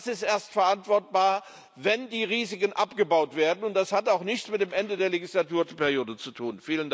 Das ist erst verantwortbar, wenn die Risiken abgebaut werden, und das hat auch nichts mit dem Ende der Legislaturperiode zu tun.